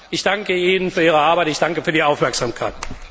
Ich danke Ihnen für Ihre Arbeit, ich danke für die Aufmerksamkeit.